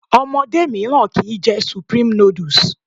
Omodé míràn kii jẹ supreme noodles